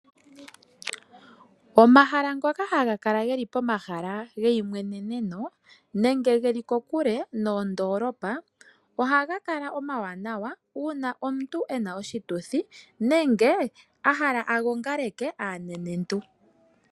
Omahala ngoka haga kala geli pomahala geimweneno nenge geli kokule noondoolopa ohaga kala omawanawa. Uuna omuntu ena oshituthi nenge a hala a gongaleke aanenentu